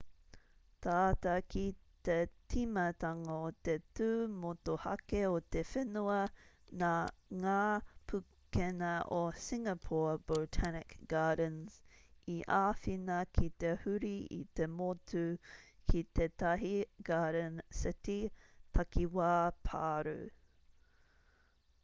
tata ki te tīmatanga o te tū motuhake o te whenua nā ngā pukenga o singapore botanic gardens i āwhina ki te huri i te motu ki tetahi garden city takiwā pārū